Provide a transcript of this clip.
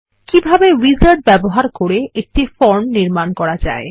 কিভাবে উইজার্ড ব্যবহার করে একটি ফর্ম নির্মাণ করা যায়